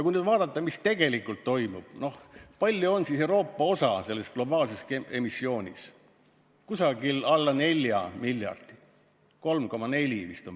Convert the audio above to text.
Kui nüüd vaadata, mis tegelikult toimub ja küsida, kui suur on Euroopa osa selles globaalses emissioonis, siis see on praegu alla 4 miljardi, vist 3,4.